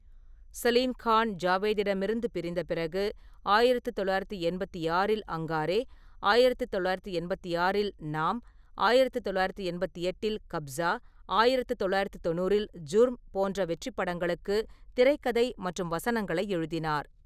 சலீம் கான் ஜாவேத்திடமிருந்து பிரிந்த பிறகு, ஆயிரத்து தொள்ளாயிரத்து எண்பத்தி ஆறில் அங்காரே, ஆயிரத்து தொள்ளாயிரத்து எண்பத்தி ஆறில் நாம், ஆயிரத்து தொள்ளாயிரத்து எண்பத்து எட்டில் கப்ஸா, ஆயிரத்து தொள்ளாயிரத்து தொண்ணூறில் ஜுர்ம் போன்ற வெற்றிப் படங்களுக்கு திரைக்கதை மற்றும் வசனங்களை எழுதினார்.